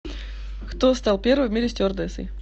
кто стал первой в мире стюардессой